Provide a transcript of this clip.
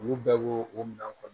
Olu bɛɛ bo o minɛn kɔnɔ